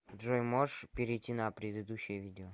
джой можешь перейти на предыдущее видео